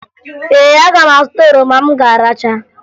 Ee, aga m azụta oroma m ga-aracha